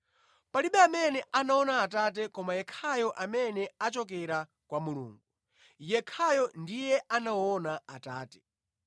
Palibe amene anaona Atate koma yekhayo amene achokera kwa Mulungu; yekhayo ndiye anaona Atate.